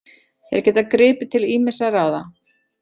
Þeir geta gripið til ýmissa ráða